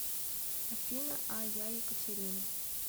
афина а я екатерина